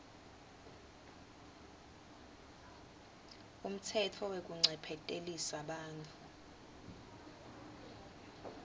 umtsetfo wekuncephetelisa bantfu